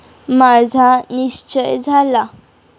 माझा निश्चय झाला.